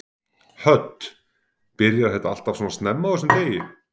Hödd: Byrjar þetta alltaf svona snemma á þessum degi?